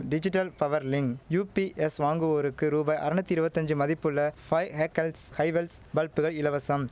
digital power link UPS வாங்குவோருக்கு ரூபாய் அறநூத்தி இருவத்தஞ்சு மதிப்புள்ள ஃபைவ் ஹேகெல்ஸ் ஹைவெல்ஸ் பல்புகள் இலவசம்